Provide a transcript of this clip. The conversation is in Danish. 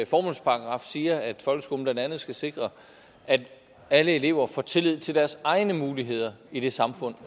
formålsparagraf siger at folkeskolen blandt andet skal sikre at alle elever får tillid til deres egne muligheder i det samfund